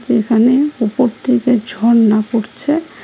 এখানে উপর থেকে ঝর্ণা পরছে।